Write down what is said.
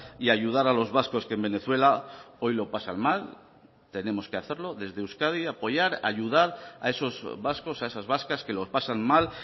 y ayudar a los vascos que en venezuela hoy lo pasan mal tenemos que hacerlo desde euskadi apoyar ayudar a esos vascos a esas vascas que los pasan mal